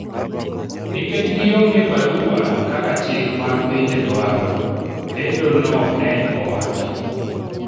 nikech gionge barua kaka chik mag pinje dwaro, lendo no ne owacho